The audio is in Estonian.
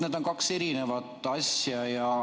Need on kaks eri asja.